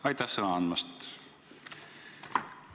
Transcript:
Aitäh sõna andmast!